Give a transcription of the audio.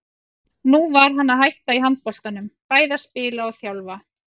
Nú var hann að hætta í handboltanum, bæði að spila og þjálfa.